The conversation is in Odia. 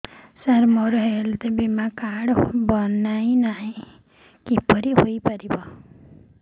ସାର ମୋର ହେଲ୍ଥ ବୀମା କାର୍ଡ ବଣାଇନାହିଁ କିପରି ହୈ ପାରିବ